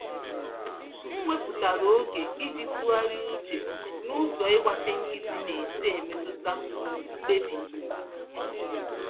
M wepụtara oge iji tụgharịa uche nụzọ ịgbachi nkịtị nesi emetụta mkpebi m